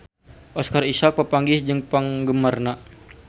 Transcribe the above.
Oscar Isaac papanggih jeung penggemarna